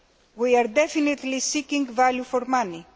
We are definitely seeking value for money.